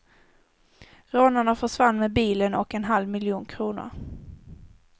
Rånarna försvann med bilen och en halv miljon kronor.